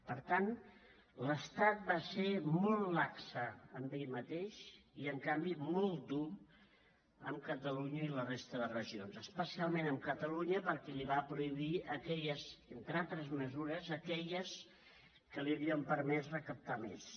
per tant l’estat va ser molt lax amb ell mateix i en canvi molt dur amb catalunya i la resta de regions especialment amb catalunya perquè li va prohibir entre altres mesures aquelles que li haurien permès recaptar més